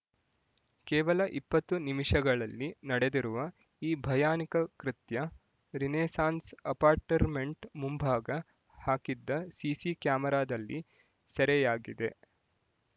ಕೇವಲ ಇಪ್ಪತ್ತು ನಿಮಿಷಗಳಲ್ಲಿ ನಡೆದಿರುವ ಈ ಭಯಾನಿಕ ಕೃತ್ಯ ರಿನೆಸಾನ್ಸ್ ಅಪಾರ್ಟ್‌ಮೆಂಟ್ ಮುಂಭಾಗ ಹಾಕಿದ್ದ ಸಿಸಿ ಕ್ಯಾಮರಾದಲ್ಲಿ ಸೆರೆಯಾಗಿದೆ